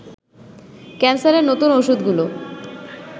ক্যান্সারের নতুন ওষুধগুলি